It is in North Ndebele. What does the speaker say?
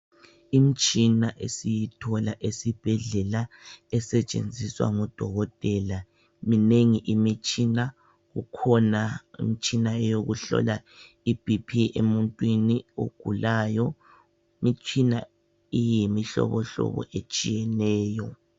Imitshina esiyithola esibhedlela esetshenziswa ngo dokotela, minengi imitshina, kukhona imitshina eyokuhlola i Bp emuntwini ogulayo. Imitshina iyimihlobohlobo etshiyeneyo